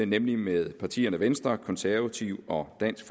nemlig med partierne venstre konservative og dansk